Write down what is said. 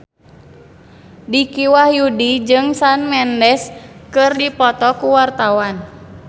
Dicky Wahyudi jeung Shawn Mendes keur dipoto ku wartawan